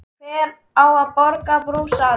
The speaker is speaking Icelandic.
Hver á að borga brúsann?